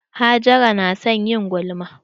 Hajara na son yin gulma.